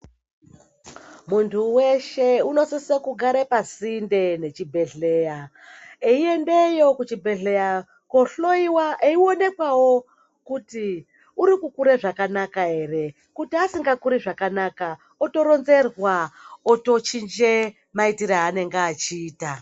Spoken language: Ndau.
Munhu weshe unosise kugare pasinde nechibhehleya eiendeyo kuchibhehleya kohloyiwa eionekwawo kuti urikukure zvakanaka ere ,kuti asingakuri zvakanaka otoronzerwa kuti achinje maitiro aanenge achiita.